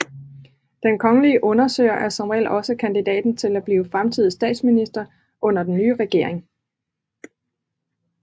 Den kongelige undersøger er som regel også kandidaten til at blive fremtidig statsminister under den nye regering